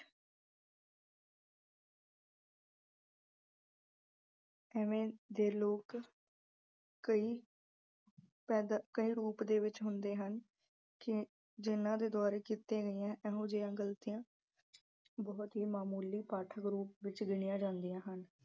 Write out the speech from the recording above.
ਇਵੇਂ ਦੇ ਲੋਕ ਕਈ ਪੈਦਾਂ ਅਹ ਕਈ ਰੂਪ ਦੇ ਵਿੱਚ ਹੁੰਦੇ ਹਨ ਕਿ ਜਿੰਨ੍ਹਾਂ ਦੇ ਦੁਆਰਾ ਕੀਤੀਆਂ ਇਹੋ ਜਿਹਾਂ ਗਈਆਂ ਗਲਤੀਆਂ ਬਹੁਤ ਹੀ ਮਾਮੂਲੀ ਪਾਠਕ ਰੂਪ ਵਿੱਚ ਗਿਣੀਆਂ ਜਾਂਦੀਆਂ ਹਨ।